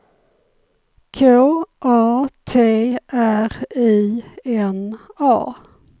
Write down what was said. K A T R I N A